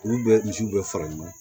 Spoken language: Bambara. Olu bɛ misiw bɛɛ fara ɲɔgɔn kan